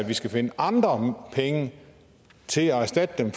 vi skal finde andre penge til at erstatte dem